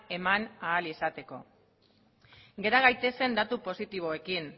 eman ahal izateko gera gaitezen datu positiboekin